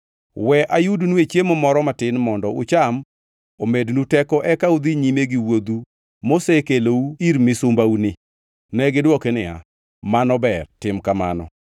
We ayudnue chiemo moro matin mondo ucham omednu teko eka udhi nyime gi wuodhu mosekelou ir misumbauni.” Negidwoke niya, “Mano ber, tim kamano.”